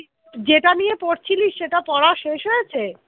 যেটা নিয়ে পড়ছিলি সেটা পড়া শেষ হয়েছে?